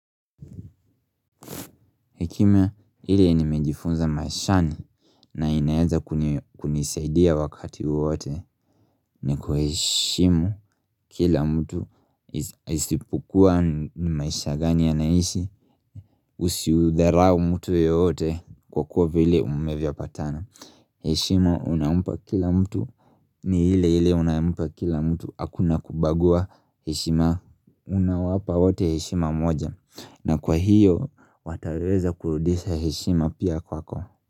Hekima hile ni mejifunza maishani na inaeza kunisaidia wakati wowote ni kueshimu kila mtu isipokua ni maisha gani ya naishi usi udharau mtu yeyote kwa kuwa vile umevya patana. Heshima unamupa kila mtu ni hile hile unamupa kila mtu akuna kubagua heshima unawapa wote heshima moja na kwa hiyo wataweza kurudisha heshima pia kwako.